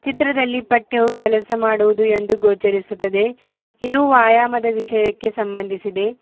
ಚಿತ್ರದಲ್ಲಿ ಪಟ್ಟೆವು ಕೆಲಸ ಮಾಡುವುದು ಎಂದು ಗೋಚರಿಸುತ್ತದೆ ಇದು ವ್ಯಾಯಾಮದ ವಿಷಯಕ್ಕೆ ಸಂಬಂಧಿಸಿದೆ.